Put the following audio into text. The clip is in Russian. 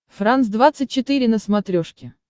франс двадцать четыре на смотрешке